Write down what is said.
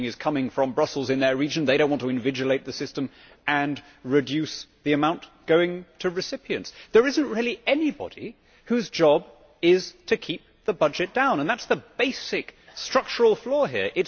If spending is coming from Brussels in their region, they do not want to invigilate the system and reduce the amount going to recipients. There is not really anybody whose job is to keep the budget down and that is the basic structural flaw here.